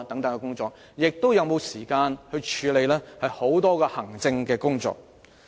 又是否有時間處理大量行政工作？